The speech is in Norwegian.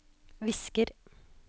visker